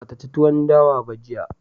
Ba ta ci tuwon dawa ba jiya